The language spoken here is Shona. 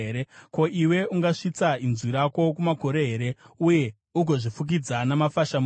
“Ko, iwe ungasvitsa inzwi rako kumakore here, uye ugozvifukidza namafashamu emvura?